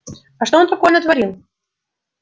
а что он такое натворил